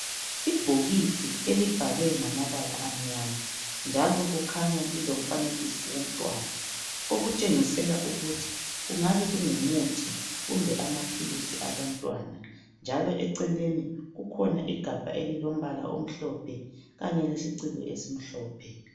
Ibhokisi elibhalwe ngamabala amnyama njalo kukhanya lilomfanekiso womntwana okutshengisela ukuthi kungabe kungumuthi kumbe amaphilisi abantwana njalo eceleni kukhona igabha elilombala omhlophe kanye lesiciko esimhlophe.